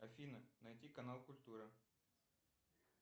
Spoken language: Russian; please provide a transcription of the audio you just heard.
афина найти канал культура